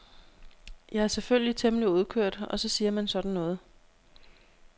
Jeg er selvfølgelig temmelig udkørt og så siger man sådan noget.